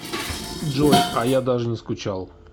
джой а я даже не скучал